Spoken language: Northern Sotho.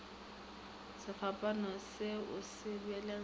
sefapano se o se belegetše